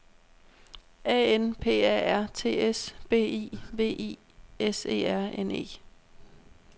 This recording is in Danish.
A N P A R T S B E V I S E R N E